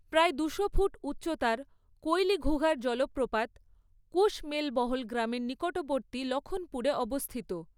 প্রায় দুশো ফুট উচ্চতার কৈলিঘুগার জলপ্রপাত, কুশমেলবহল গ্রামের নিকটবর্তী লখনপুরে অবস্থিত।